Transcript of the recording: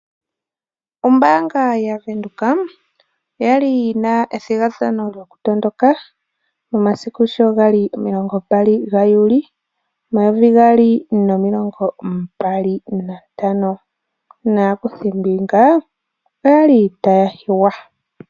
Ombaanga yaVenduka oyali yina ethigathano lyoku matuka momasiku sho gali omilongo mbali ga juuli omayovi gaali nomilongombali nantano, naakuthimbinga oyali taya hiywa.